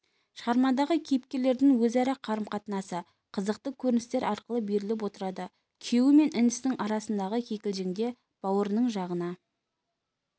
шығармадағы кейіпкерлердің өзара қарым-қатынасы қызықты көріністер арқылы беріліп отырады күйеуі мен інісінің арасындағы кикілжіңде бауырының жағына